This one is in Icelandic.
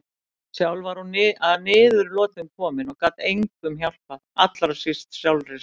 Sjálf var hún að niðurlotum komin og gat engum hjálpað, allra síst sjálfri sér.